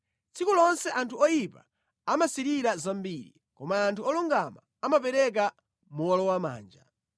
Tsiku lonse anthu oyipa amasirira zambiri, koma anthu olungama amapereka mowolowamanja.